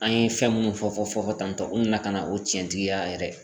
An ye fɛn munnu fɔ fɔ tantɔ n kun be ka nana o cɛntigiya yɛrɛ